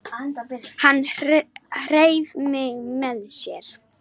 Hann hreif mig með sér.